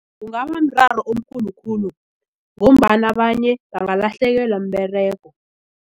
Kungabamraro omkhulu khulu ngombana abanye bangalahlekelwa mberego.